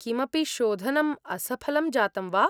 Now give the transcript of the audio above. किमपि शोधनम् असफलं जातं वा?